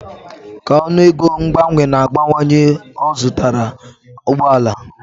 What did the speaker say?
Ka ọnụego mgbanwe na-abawanye, ọ zụtara ụgbọ ala.